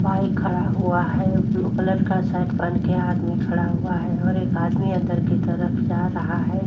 Bike खड़ा हुआ है। ब्लू कलर का शर्ट पहन के आदमी खड़ा हुआ है। और एक आदमी अंदर की तरफ जा रहा है।